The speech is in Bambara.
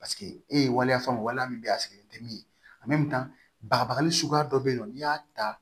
Paseke e ye waleya fɛn o waleya min bɛ yen a sigilen tɛ min ye bagabagali suguya dɔ bɛ yen nɔ n'i y'a ta